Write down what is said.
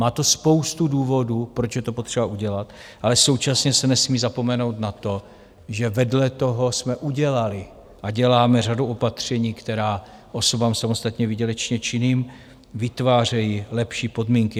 Má to spoustu důvodů, proč je to potřeba udělat, ale současně se nesmí zapomenout na to, že vedle toho jsme udělali a děláme řadu opatření, která osobám samostatně výdělečně činným vytvářejí lepší podmínky.